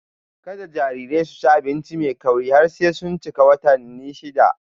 Kada jarirai su ci abinci mai kauri har sai sun cika watanni shida.